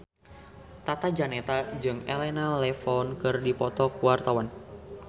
Tata Janeta jeung Elena Levon keur dipoto ku wartawan